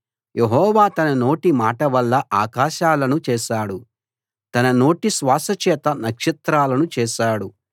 యెహోవా తన నోటి మాట వల్ల ఆకాశాలను చేశాడు తన నోటి శ్వాస చేత నక్షత్రాలను చేశాడు